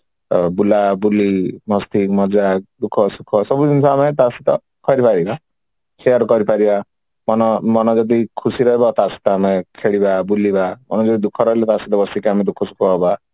ବୁଲା ବୁଲି ମସ୍ତି ମଜା ଦୁଖ ସୁଖ ସବୁ ଯେମିତେ ଆମେ କରିବା ଯେମିତେ share କରି ପାରିବା ମାନେ ମନ ଯଦି ଖୁସି ରହିବ ତା ସହିତ ଆମେ ଖେଳିବା ବୁଲିବା ମାନେ ଯଦି ଦୁଖ ରହିଲେ ତା ସହିତ ବସିକି ଆମେ ଦୁଖ ସୁଖ ହବା